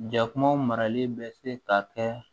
Ja kumaw marali bɛ se ka kɛ